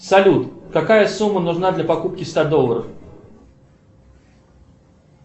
салют какая сумма нужна для покупки ста долларов